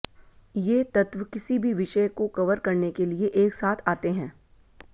ये तत्व किसी भी विषय को कवर करने के लिए एक साथ आते हैं